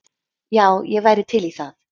Já, ég væri til í það.